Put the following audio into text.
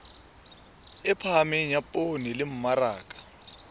phahameng ya poone le mmaraka